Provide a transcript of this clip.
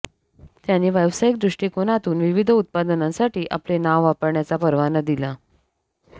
त्यांनी व्यावसायिक दृष्टिकोनातून विविध उत्पादनांसाठी आपले नाव वापरण्याचा परवाना दिला